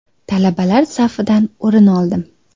Talabalar safidan o‘rin oldim.